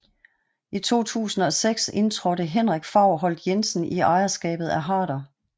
I 2006 indtrådte Henrik Faurholt Jensen i ejerskabet af Harder